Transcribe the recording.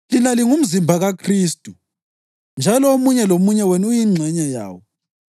Lina lingumzimba kaKhristu njalo omunye lomunye wenu uyingxenye yawo.